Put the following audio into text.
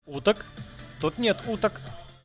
уток тут нет уток